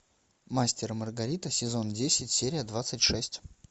мастер и маргарита сезон десять серия двадцать шесть